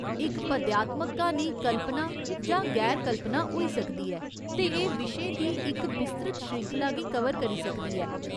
इक पद्यात्मक क्हानी कल्पना जां गैर कल्पना होई सकदी ऐ, ते एह् विशें दी इक बिस्तृत श्रृंखला गी कवर करी सकदी ऐ।